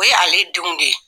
O ye ale denw de ye.